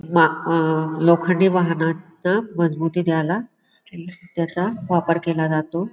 मा आ लोखंडी वाहनांणा मजबूती द्यायला त्याचा वापर केला जातो.